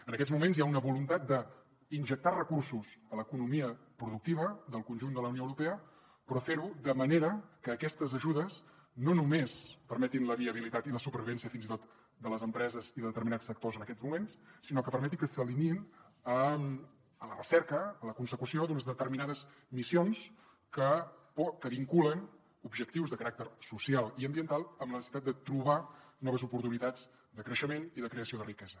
en aquests moments hi ha una voluntat d’injectar recursos a l’economia productiva del conjunt de la unió europea però fer ho de manera que aquestes ajudes no només permetin la viabilitat i la supervivència fins i tot de les empreses i de determinats sectors en aquests moments sinó que permeti que s’alineïn amb a la recerca la consecució d’unes determinades missions que vinculen objectius de caràcter social i ambiental amb la necessitat de trobar noves oportunitats de creixement i de creació de riquesa